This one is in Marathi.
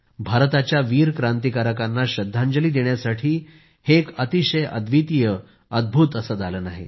भारताच्या वीर क्रांतिकारकांना श्रद्धांजली देण्यासाठी हे एक अतिशय अव्दितीय अद्भूत दालन आहे